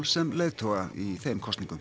sem leiðtoga í þeim kosningum